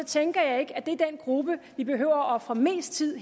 tænker jeg ikke at det er den gruppe vi behøver at ofre mest tid